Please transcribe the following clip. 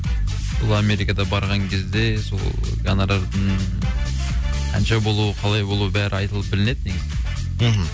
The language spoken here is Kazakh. бұл америкада барған кезде сол гонорардың қанша болуы қалай болуы бәрі айтылып білінеді негізі мхм